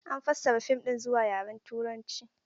An fassara fim ɗin zuwa yaren Turanci.